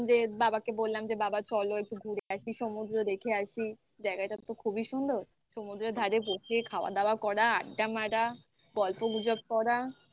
বাবাকে বললাম যে বাবা চলো একটু ঘুরে আসি. সমুদ্র দেখে আসি। জায়গাটা তো খুবই সুন্দর. সমুদ্রের ধারে বসে খাওয়া দাওয়া করা, আড্ডা মারা. গল্পগুজব করা